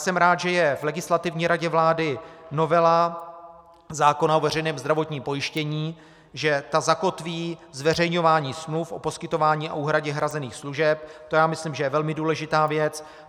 Jsem rád, že je v Legislativní radě vlády novela zákona o veřejném zdravotním pojištění, že ta zakotví zveřejňování smluv o poskytování a úhradě hrazených služeb, to si myslím, že je velmi důležitá věc.